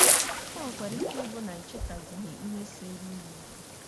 O nwekwara ike ịbụ na ị chetaghịzi ihe seere unu okwu.